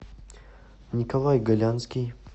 николай голянский